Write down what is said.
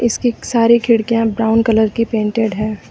इसकी सारी खिड़कियां ब्राउन कलर की पेंटेड हैं।